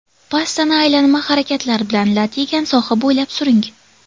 Pastani aylanma harakatlar bilan lat yegan soha bo‘ylab suring.